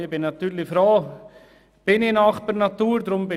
Ich bin natürlich froh, nahe bei der Natur zu sein.